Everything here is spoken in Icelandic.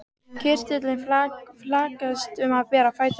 Kirtillinn flaksaðist um bera fætur hans.